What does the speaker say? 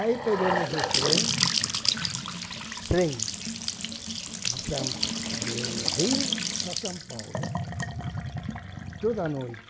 Aí pegamos o trem, trem de São de Rio para São Paulo, toda a noite.